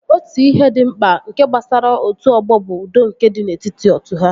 Otu ihe dị mkpa nke gbasara otu ọgbọ bụ udo nke dị n'etiti otu ha